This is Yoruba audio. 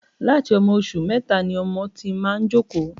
Láti ọmọ oṣù mẹta ni ọmọ ti máa ń jókòó